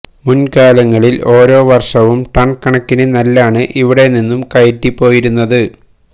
മുന്കാലങ്ങളില് ഓരോ വര്ഷവും ടണ് കണക്കിന് നെല്ലാണ് ഇവിടെ നിന്നും കയറ്റി പോയിരുന്നത്